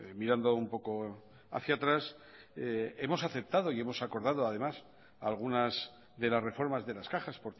mirando un poco hacia atrás hemos aceptado y hemos acordado además algunas de las reformas de las cajas